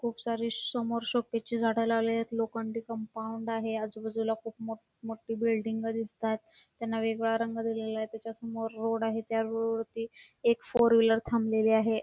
खुप सारी समोर शोपीसची झाड लावलेली आहेत लोखंडी कंपाऊंड आहे आजूबाजूला खूप मोठी बिल्डिंग दिसतायत त्यांना वेगळा रंग दिलेला आहे त्याच्या समोर रोड आहे त्या रोड वरती एक फोर व्हीलर थांबलेली आहे.